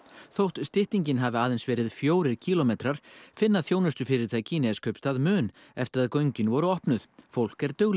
þótt styttingin hafi aðeins verið fjórir kílómetrar finna þjónustufyrirtæki í Neskaupstað mun eftir að göngin voru opnuð fólk er duglegra